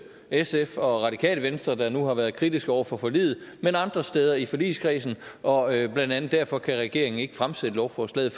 sf og radikale venstre der nu har været kritiske over for forliget men andre steder i forligskredsen og blandt andet derfor kan regeringen ikke fremsætte lovforslaget